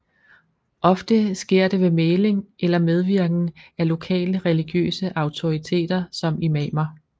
Ofte sker det ved mægling eller medvirken af lokale religiøse autoriteter som imamer